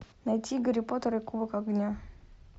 найти гарри поттер и кубок огня